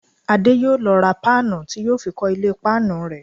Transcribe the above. Adé yóò lọ ra páànù tí yóò fi kọ́ ilé páànù rẹ̀